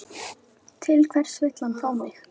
Til hvers var hann að fá mig?